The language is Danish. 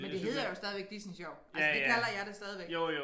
Men det hedder jo stadigvæk Disney Sjov altså det kalder jeg det stadigvæk